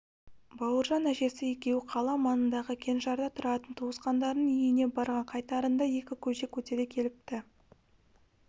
бауыржан әжесі екеуі қала маңындағы кеңшарда тұратын туысқандарының үйіне барған қайтарында екі көжек көтере келіпті